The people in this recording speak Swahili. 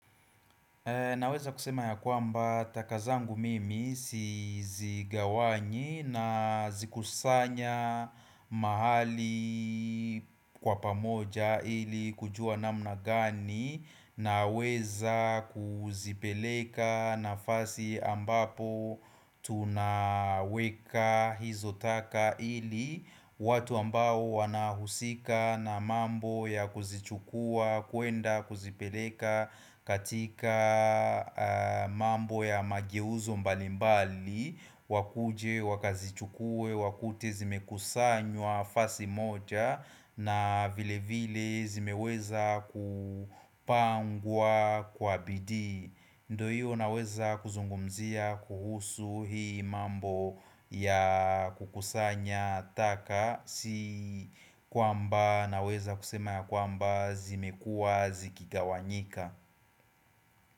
Naweza kusema ya kwamba taka zangu mimi sizigawanyi nazikusanya mahali kwa pamoja ili kujua namna gani naweza kuzipeleka nafasi ambapo tunaweka hizo taka ili watu ambao wanahusika na mambo ya kuzichukua kuenda kuzipeleka katika mambo ya mageuzo mbalimbali wakuje wakazichukue wakute zimekusanywa nafasi moja na vilevile zimeweza kupangwa kwa bidii. Ndio hiyo naweza kuzungumzia kuhusu hii mambo ya kukusanya taka. Si kwamba naweza kusema ya kwamba zimekua zikigawanyika.